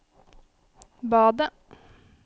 badet